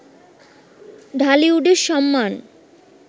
ঢালিউডের সম্মান